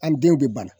An denw bɛ bana